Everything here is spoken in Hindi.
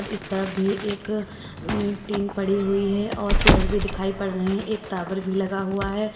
इस तरफ भी एक टीन पड़ी हुई है और पेड़ भी दिखाई पड़ रहे हैं एक टावर भी लगा हुआ है।